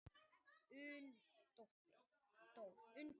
Unndór